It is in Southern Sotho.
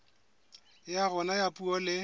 ya rona ya puo le